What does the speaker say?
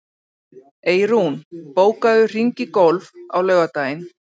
Eyrún, bókaðu hring í golf á laugardaginn.